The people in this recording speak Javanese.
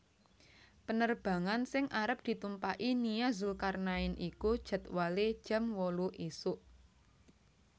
Penerbangan sing arep ditumpaki Nia Zulkarnaen iku jadwale jam wolu isuk